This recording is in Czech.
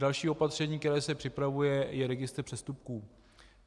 Další opatření, které se připravuje, je registr přestupků.